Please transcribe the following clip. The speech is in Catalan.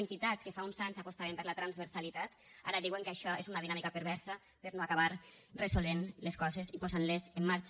entitats que fa uns anys apostaven per la transversalitat ara diuen que això és una dinàmica perversa per no acabar resolent les coses ni posant les en marxa